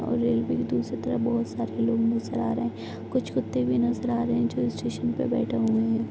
और रेलवे के दूसरी तरफ बोहोत सारे लोग नजर आ रहे हैं। कुछ कुत्ते भी नजर आ रहे हैं जो स्टेशन पे बेठे हुए हैं।